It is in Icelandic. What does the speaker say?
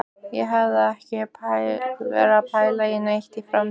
Ég hef ekki verið að pæla neitt í framtíðinni.